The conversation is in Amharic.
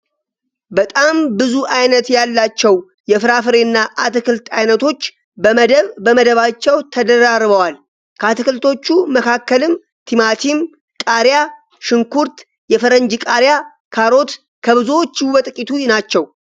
በጣም ብዙ አይነት ያላቸው የፍራፍሬ እና አትክልት አይነቶች በመደብ በመደባቸው ተደራርበዋል። ከአትክልቶቹ መካከልም ቲማቲም፣ ቃሪያ፣ ሽንኩርት፣ የፈረንጅ ቃሪያ፣ ካሮት ከብዙዎቹ በጥቂቱ ናቸው።